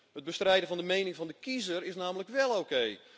Het bestrijden van de mening van de kiezer is namelijk wel oké.